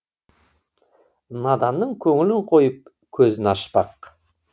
наданның көңілін қойып көзін ашпақ